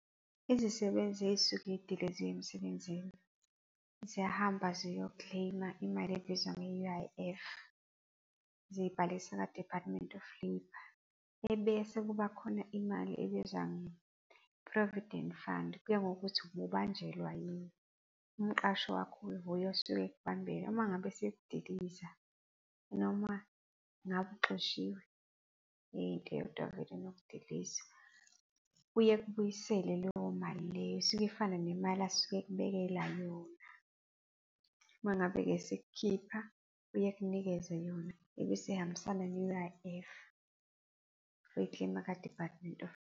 Izisebenzi ezisuke zidileziwe emsebenzini ziyahamba ziyo-claim-a imali ebizwa nge-U_I_F. Ziyibhalisa ka-Department of Labour. Ebese kuba khona imali ebizwa nge-Provident Fund, kuya ngokuthi obubanjelwa yini. Umqashi wakho nguye osuke ekubambela. Uma ngabe esekudiliza noma ngabe uxoshiwe into eyodwa vele nokudilizwa, uye akubuyisele leyo mali leyo, isuke ifana nemali asuke ekubekela yona. Uma ngabe-ke esekukhipha uye akunikeze yona ebese ihambisana ne-U_I_F, uyoyi-claim-a kwa-Department of .